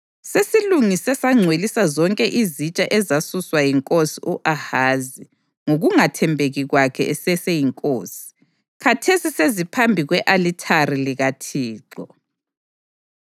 Sesilungise sangcwelisa zonke izitsha ezasuswa yinkosi u-Ahazi ngokungathembeki kwakhe eseseyinkosi. Khathesi seziphambi kwe-alithari likaThixo.”